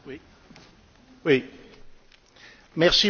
Merci beaucoup, Monsieur le Président, de procéder à ce vote.